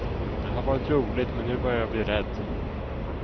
Det har varit roligt men nu börjar jag bli rädd.